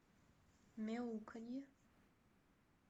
мяуканье